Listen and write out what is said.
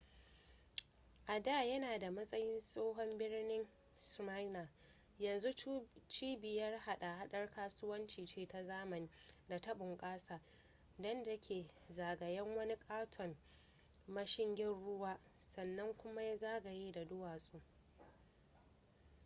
a da yana a matsayin tsohon birnin smyrna yanzu cibiyar hada-hadar kasuwanci ce ta zamani da ta bnƙasa da ta ke zagayen wani ƙaton mashigin ruwa sannan kuma yana zagaye da duwatsu